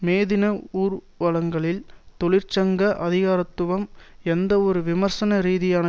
மேதின ஊர்வலங்களில் தொழிற்சங்க அதிகாரத்துவம் எந்தவொரு விமர்சன ரீதியான